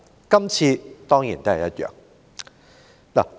今次當然也不例外。